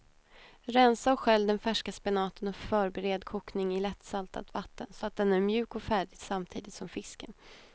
Rensa och skölj den färska spenaten och förbered kokning i lätt saltat vatten så att den är mjuk och färdig samtidigt som fisken.